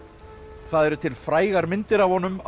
það eru til frægar myndir af honum á